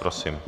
Prosím.